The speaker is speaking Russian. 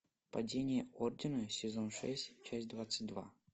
падение ордена сезон шесть часть двадцать два